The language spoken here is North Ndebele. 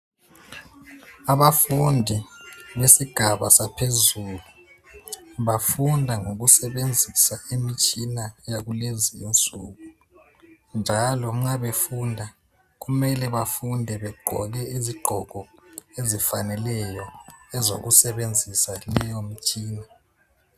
Abafundi besigaba saphezulu bafunda ngokusebenzisa imitshina yakulezi insuku, njalo nxa befunda kumele bafunde begqoke izigqoko ezifaneleyo ezokusebenzisa leyo mitshina.